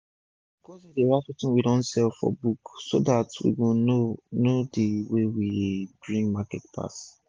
my cousin dey write wetin we don sell for book so dat we go know know d one wey dey bring market pass